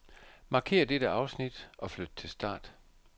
Markér dette afsnit og flyt til start.